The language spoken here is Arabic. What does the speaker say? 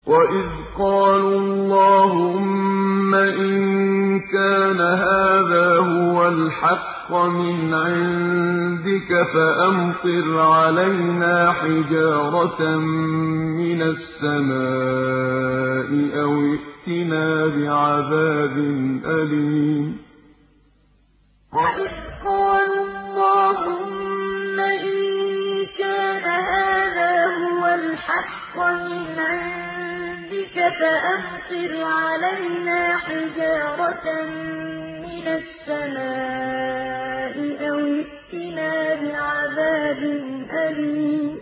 وَإِذْ قَالُوا اللَّهُمَّ إِن كَانَ هَٰذَا هُوَ الْحَقَّ مِنْ عِندِكَ فَأَمْطِرْ عَلَيْنَا حِجَارَةً مِّنَ السَّمَاءِ أَوِ ائْتِنَا بِعَذَابٍ أَلِيمٍ وَإِذْ قَالُوا اللَّهُمَّ إِن كَانَ هَٰذَا هُوَ الْحَقَّ مِنْ عِندِكَ فَأَمْطِرْ عَلَيْنَا حِجَارَةً مِّنَ السَّمَاءِ أَوِ ائْتِنَا بِعَذَابٍ أَلِيمٍ